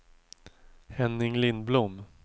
Henning Lindblom